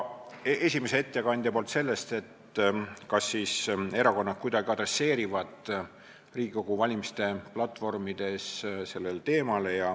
Esimesel ettekandjal oli ka küsimus, kas siis erakonnad kuidagi tegelevad Riigikogu valimiste platvormides selle teemaga.